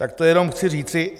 Tak to jenom chci říci.